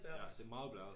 Ja et meget blæret